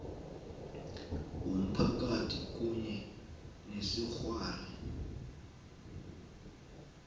womphakathi kunye nesikghwari